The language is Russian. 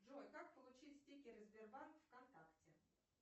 джой как получить стикеры сбербанк вконтакте